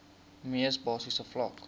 mees basiese vlak